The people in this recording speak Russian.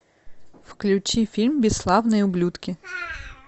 включи фильм бесславные ублюдки